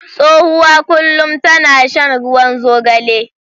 Tsohuwa kullum tana shan ruwan zogale.